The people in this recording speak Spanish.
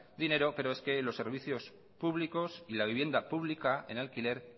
dinero pero es que los servicios públicos y la vivienda pública en alquiler